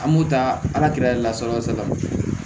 An b'o ta ala yɛrɛ lasago salati